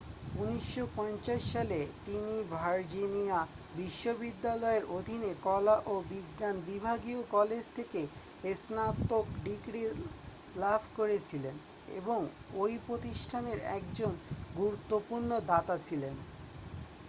1950 সালে তিনি ভার্জিনিয়া বিশ্ববিদ্যালয়ের অধীনে কলা ও বিজ্ঞান বিভাগীয় কলেজ থেকে স্নাতক ডিগ্রি লাভ করেছিলেন এবং ওই প্রতিষ্ঠানের একজন গুরুত্বপূর্ণ দাতা ছিলেন